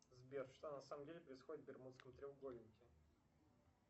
сбер что на самом деле происходит в бермудском треугольнике